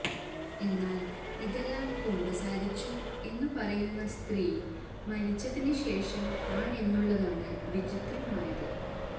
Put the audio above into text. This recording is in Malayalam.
എന്നാല് ഇതെല്ലാം കുമ്പസാരിച്ചു എന്ന് പറയുന്ന സ്ത്രീ മരിച്ചതിന് ശേഷം ആണെന്നുള്ളതാണ് വിചിത്രമായത്